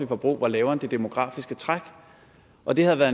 forbrug var lavere end det demografiske træk og det havde været